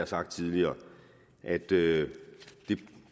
sagt tidligere at det